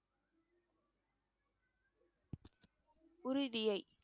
உறுதியை